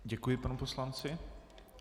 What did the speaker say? Děkuji panu poslanci.